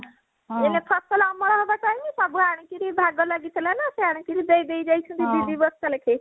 ଏଇନା ଫସଲ ଅମଳ ହବ time ସବୁ ଆଣିକିରି ଭାଗ ଲାଗିଥିଲା ନା ସେ ଆଣିକରି ଦେଇ ଦେଇଯାଇଛନ୍ତି ଦି ଦି ବସ୍ତା ଲେଖେ